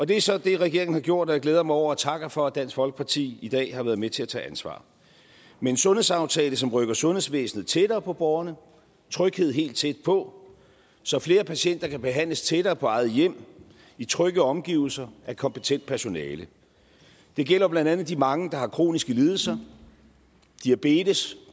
det er så det regeringen har gjort og jeg glæder mig over og takker for at dansk folkeparti i dag har været med til at tage ansvar med en sundhedsaftale som rykker sundhedsvæsenet tættere på borgerne tryghed helt tæt på så flere patienter kan behandles tættere på eget hjem i trygge omgivelser af kompetent personale det gælder blandt andet de mange der har kroniske lidelser diabetes